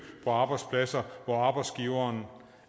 på arbejdspladser hvor arbejdsgiveren